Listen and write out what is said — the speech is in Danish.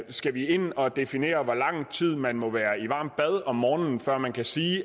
skal vi ind og definere hvor lang tid man må være i varmt bad om morgenen før man kan sige